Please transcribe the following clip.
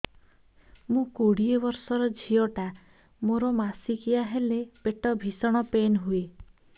ମୁ କୋଡ଼ିଏ ବର୍ଷର ଝିଅ ଟା ମୋର ମାସିକିଆ ହେଲେ ପେଟ ଭୀଷଣ ପେନ ହୁଏ